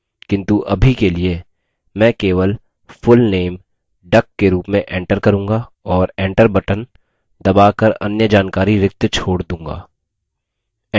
किन्तु अभी के लिए मैं key full name duck के रूप में enter करूँगा और enter बटन दबा कर अन्य जानकारी रिक्त छोड़ दूँगा